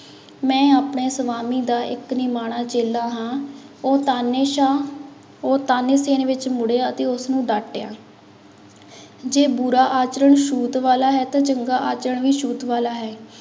ਮੈਂ ਆਪਣੇ ਸਵਾਮੀ ਦਾ ਇੱਕ ਨਿਮਾਣਾ ਚੇਲਾ ਹਾਂ, ਉਹ ਤਾਨੇਸ਼ਾਹ ਉਹ ਤਾਨੇਸੇਨ ਵਿੱਚ ਮੁੜਿਆ ਅਤੇ ਉਸਨੂੰ ਡਾਟਿਆ ਜੇ ਬੁਰਾ ਆਚਰਣ ਛੂਤ ਵਾਲਾ ਹੈ ਤਾਂ ਚੰਗਾ ਆਚਰਣ ਵੀ ਛੂਤ ਵਾਲਾ ਹੈ।